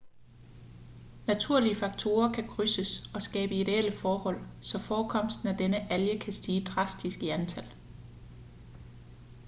naturlige faktorer kan krydses og skabe ideelle forhold så forekomsten af denne alge kan stige drastisk i antal